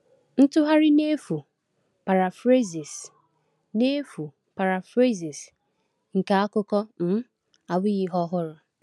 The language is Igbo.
Ntụgharị n’efu (paraphrases) n’efu (paraphrases) nke akụkọ um abụghị ihe ọhụrụ.